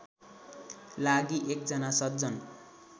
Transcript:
लागि एकजना सज्जन